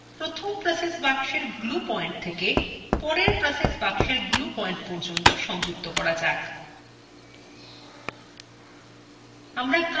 এখন প্রথম process box glue point থেকে পরের process box glue পয়েন্ট পর্যন্ত সংযুক্ত করা যায়